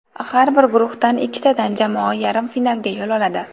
Har bir guruhdan ikkitadan jamoa yarim finalga yo‘l oladi.